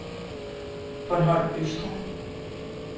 Bornholm Østre